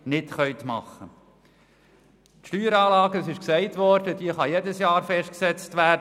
Die Steueranlage kann, wie bereits erwähnt worden ist, in jedem Jahr neu festgesetzt werden.